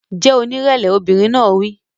Jẹ́ onírẹ̀lẹ̀! Obìnrin náà wí.